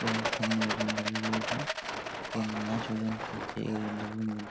এবং সামনে ওজন দাড়ি রয়েছে এবং মাছ ওজন করছে এই ওজন দাড়ির মধ্য--